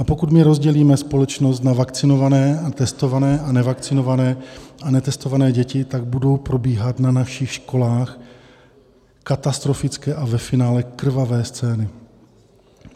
A pokud my rozdělíme společnost na vakcinované a testované a nevakcinované a netestované děti, tak budou probíhat na našich školách katastrofické a ve finále krvavé scény.